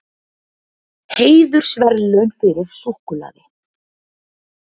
Heiðursverðlaun fyrir súkkulaði